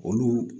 Olu